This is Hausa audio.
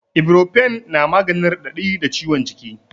Iborofen na maganin raɗaɗi da ciwon jiki